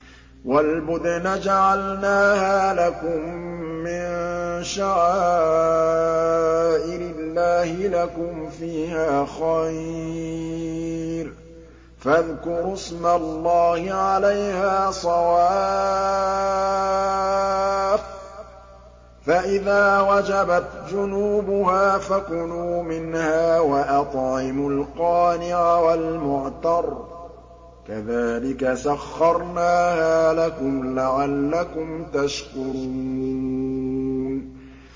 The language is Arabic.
وَالْبُدْنَ جَعَلْنَاهَا لَكُم مِّن شَعَائِرِ اللَّهِ لَكُمْ فِيهَا خَيْرٌ ۖ فَاذْكُرُوا اسْمَ اللَّهِ عَلَيْهَا صَوَافَّ ۖ فَإِذَا وَجَبَتْ جُنُوبُهَا فَكُلُوا مِنْهَا وَأَطْعِمُوا الْقَانِعَ وَالْمُعْتَرَّ ۚ كَذَٰلِكَ سَخَّرْنَاهَا لَكُمْ لَعَلَّكُمْ تَشْكُرُونَ